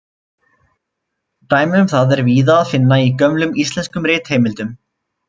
Dæmi um það er víða að finna í gömlum íslenskum ritheimildum.